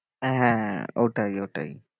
হ্যাঁ ওটাই ওটাই।